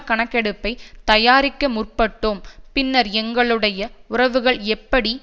கணக்கெடுப்பை தயாரிக்க முற்பட்டோம் பின்னர் எங்களுடைய உறவுகள் எப்படி